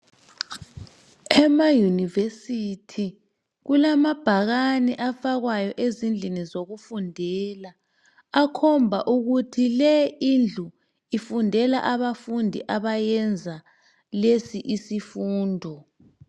Ema yunivesithi kulamabhakani afakwayo ezindlini zokufundela akhomba ukuthi le indlu ifundela abafundi abayenza lesi isifundo.